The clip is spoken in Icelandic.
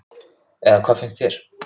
Eða hvað finnst þér?